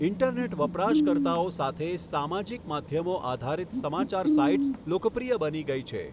Internet વપરાશકર્તાઓ સાથે, સામાજિક માધ્યમો આધારિત સમાચાર સાઇટ્સ લોકપ્રિય બની ગઈ છે.